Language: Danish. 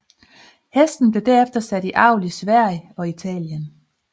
Hesten blev derefter sat i avl i Sverige og Italien